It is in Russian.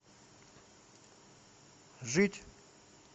жить